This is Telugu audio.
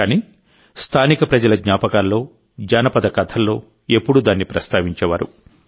కానీ స్థానిక ప్రజల జ్ఞాపకాల్లో జానపద కథల్లో ఎప్పుడూ దాన్ని ప్రస్తావించేవారు